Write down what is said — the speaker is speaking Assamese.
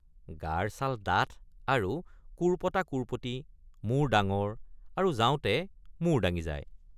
গাৰ ছাল ডাঠ আৰু কোৰপটাকোৰপটি মূৰ ডাঙৰ আৰু যাওঁতে মূৰ দাঙি যায়।